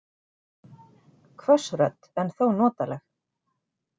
Hvöss rödd en þó notaleg.